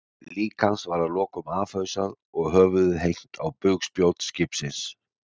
Lík hans var að lokum afhausað og höfuðið hengt á bugspjót skipsins.